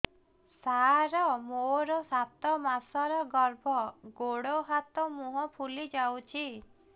ସାର ମୋର ସାତ ମାସର ଗର୍ଭ ଗୋଡ଼ ହାତ ମୁହଁ ଫୁଲି ଯାଉଛି